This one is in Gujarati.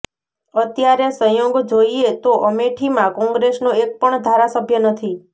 અત્યારે સંયોગ જોઈએતો અમેઠીમાં કોંગ્રેસનો એક પણ ધારાસભ્ય નથી